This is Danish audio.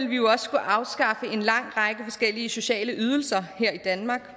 vi jo også skulle afskaffe en lang række forskellige sociale ydelser her i danmark